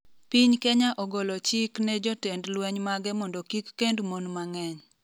piny Kenya ogolo chik ne jotend lweny mage mondo kik kend mon mang'eny